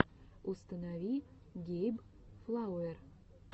установи гейб флауэр